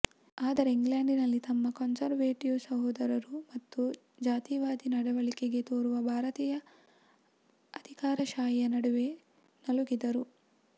ಆದರೆ ಇಂಗ್ಲೆಂಡಿನಲ್ಲಿ ತಮ್ಮ ಕನ್ಸರ್ವೇಟಿವ್ ಸಹೋದರರು ಮತ್ತು ಜಾತಿವಾದಿ ನಡವಳಿಕೆ ತೋರುವ ಭಾರತೀಯ ಅಧಿಕಾರಶಾಹಿಯ ನಡುವೆ ನಲುಗಿದರು